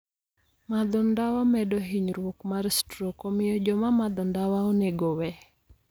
Madho ndawa medo hinyruok mar strok, omiyo joma madho ndawa onego owe.